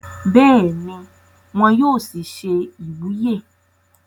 bẹ́ẹ̀ni, wọn yóò sì se ìwúyè